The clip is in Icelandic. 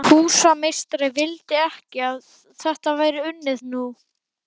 Og svo árið sem pabbi hafði fundið beinagrindina.